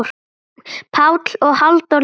Pál og Halldór líka.